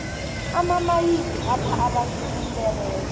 amamayini apha abantu umberego